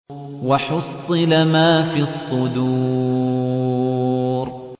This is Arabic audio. وَحُصِّلَ مَا فِي الصُّدُورِ